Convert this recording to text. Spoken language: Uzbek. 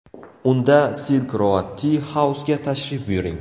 Unda Silk Road Tea House’ga tashrif buyuring.